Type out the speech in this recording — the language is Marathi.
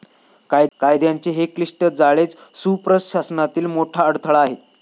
कायद्यांचे हे क्लिष्ट जाळेच सुप्रशासनातील मोठा अडथळा आहे.